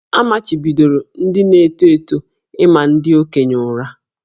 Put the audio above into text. A machibidoro ndị na-eto eto ịma ndị okenye ụra